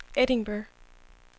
Edinburgh